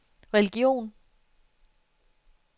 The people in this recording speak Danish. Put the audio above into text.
religion